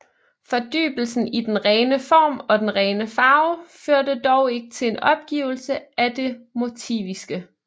Fordybelsen i den rene form og den rene farve førte dog ikke til en opgivelse af det motiviske